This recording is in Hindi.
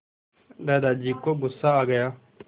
दादाजी को गुस्सा आ गया